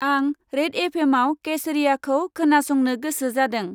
आंं red F. M. आव केसरियाखौ खोना संनो गोसो जादों।